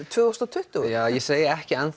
tvö þúsund og tuttugu ég segi ekki